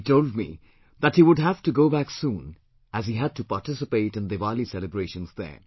He told me that he would have to go back soon as he had to participate in Diwali celebrations there